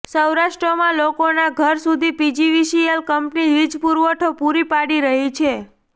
સૌરાષ્ટ્રમાં લોકોના ઘર સુધી પીજીવીસીએલ કંપની વીજપુરવઠો પુરો પાડી રહી છે